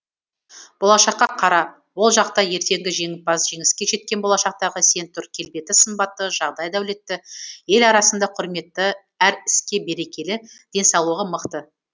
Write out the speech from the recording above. болашаққа қара ол жақта ертеңгі жеңімпаз жеңіске жеткен болашақтағы сен тұр келбеті сымбатты жағдайы дәулетті ел арасында құрметті әр іске берекелі денсаулығы мықты